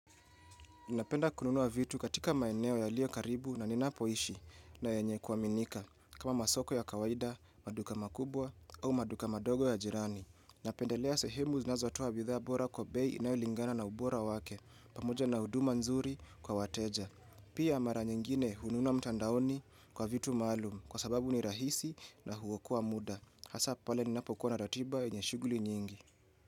Napenda kununua vitu katika maeneo yalio karibu na ninapoishi na yenye kuaminika kama masoko ya kawaida, maduka makubwa au maduka madogo ya jirani. Napendelea sehemu zinazotoa bidhaa bora kwa bei inayolingana na ubora wake pamoja na huduma nzuri kwa wateja. Pia mara nyingine hununua mtandaoni kwa vitu maalum kwa sababu ni rahisi na huokoa muda. Hasa pale ninapo kuwa na ratiba yenye shuguli nyingi.